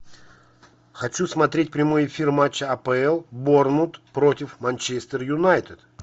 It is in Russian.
хочу смотреть прямой эфир матча апл борнмут против манчестер юнайтед